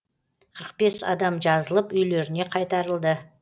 қырық бес адам жазылып үйлеріне қайтарылды